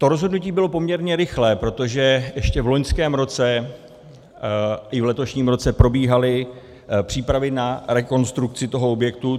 To rozhodnutí bylo poměrně rychlé, protože ještě v loňském roce i v letošním roce probíhaly přípravy na rekonstrukci toho objektu.